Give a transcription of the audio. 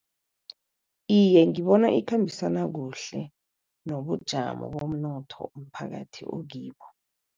Iye, ngibona ikhambisana kuhle nobujamo bomnotho umphakathi okibo.